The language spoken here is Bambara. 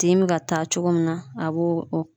Tin bɛ ka taa cogo min na a bo o